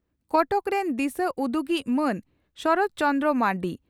ᱠᱚᱴᱚᱠ ᱨᱮᱱ ᱫᱤᱥᱟᱹ ᱩᱫᱩᱜᱤᱡ ᱢᱟᱱ ᱥᱚᱨᱚᱛ ᱪᱚᱱᱫᱨᱚ ᱢᱟᱨᱱᱰᱤ